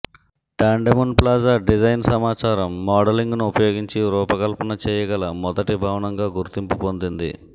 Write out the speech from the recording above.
టాండెమున్ plaza design సమాచారం మోడలింగ్ను ఉపయోగించి రూపకల్పన చేయగల మొదటి భవనంగా గుర్తింపు పొందింది